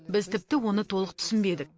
біз тіпті оны толық түсінбедік